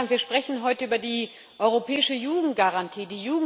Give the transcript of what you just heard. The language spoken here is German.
Wir sprechen heute über die europäische Jugendgarantie.